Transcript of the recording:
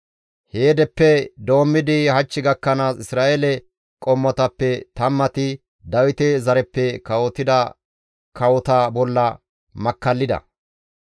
Heedeppe doommidi hach gakkanaas Isra7eele qommotappe tammati Dawite zareppe kawotida kawota bolla makkallida.